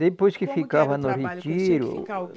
Depois que ficava no retiro